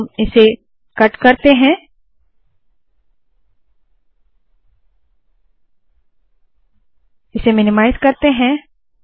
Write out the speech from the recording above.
हम इसे कट करते है कॉपी करते है इसे मिनीमाइज़ करते है